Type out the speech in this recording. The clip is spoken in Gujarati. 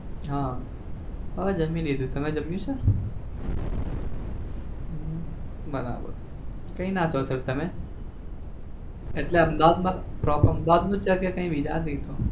હા હમ જમી લીધું તમે જમ્યું છે? હમ બરાબર કઈ ના છો sir તમે એટલે અહમેદાબાદ માં એટલે proper અહમેદાબાદ છો કે કઈ બીજા પણ છો?